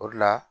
O de la